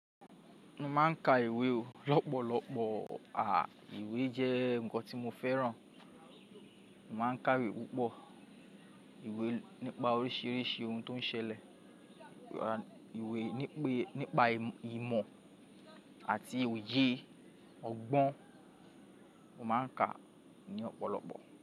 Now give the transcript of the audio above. Mo máa ń ka ìwé o lọ́pọ̀lọpọ̀. À, ìwé jẹ́ nǹkan tí mo fẹ́ràn. Mo máa ń ka ìwé púpọ̀. Ìwé nípa oríṣìíríṣìí ohun tó ń ṣẹlẹ̀, ìwé nípa ìmọ̀ àti òye ọgbọ́n, mo máa ń ka ní ọ̀pọ̀lọpọ̀.